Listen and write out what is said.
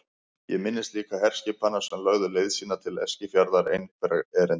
Ég minnist líka herskipanna sem lögðu leið sína til Eskifjarðar einhverra erinda.